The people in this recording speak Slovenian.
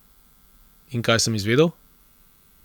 In kaj sem izvedel?